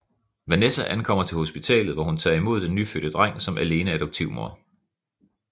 Vanessa ankommer til hospitalet hvor hun tager imod den nyfødte dreng som alene adoptivmor